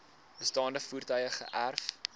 bestaande voertuie geërf